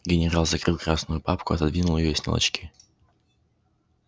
генерал закрыл красную папку отодвинул её и снял очки